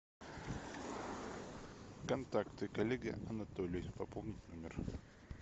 контакты коллеги анатолий пополнить номер